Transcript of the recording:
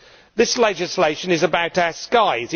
This legislation is about our skies.